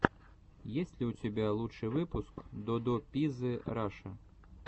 есть ли у тебя лучший выпуск додо пиззы раша